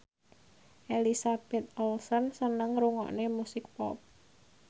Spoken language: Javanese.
Elizabeth Olsen seneng ngrungokne musik pop